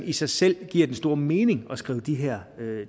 i sig selv giver den store mening at skrive de her